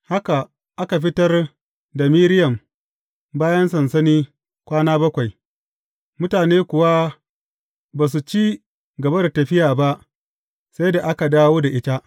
Haka aka fitar da Miriyam bayan sansani kwana bakwai, mutane kuwa ba su ci gaba da tafiya ba sai da aka dawo da ita.